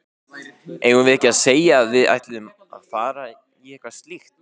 Eigum við ekki að segja að við ætlum að fara í eitthvað slíkt?